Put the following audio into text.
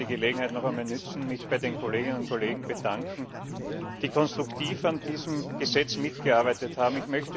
Ich möchte die Gelegenheit noch einmal nutzen, mich bei den Kolleginnen und Kollegen zu bedanken, die konstruktiv an diesem Gesetz mitgearbeitet haben.